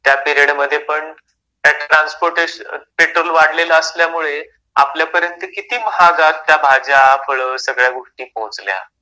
त्या पिरियडमध्ये पण ट्रान्सपोर्टेशन, पेट्रोल वाढलेलं असल्यामुळे आपल्या पर्यंत किती महागात त्या भाज्या फळं सगळ्या गोष्टी पोहोचल्या.